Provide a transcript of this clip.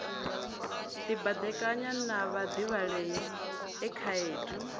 dibadekanya na vhadivhalea e khaedu